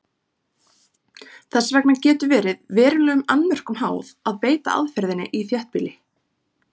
Þess vegna getur verið verulegum annmörkum háð að beita aðferðinni í þéttbýli.